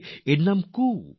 এর নাম হল কু কো কু